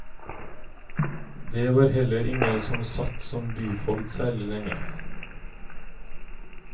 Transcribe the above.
Det var heller ingen som satt som byfogd særlig lenge.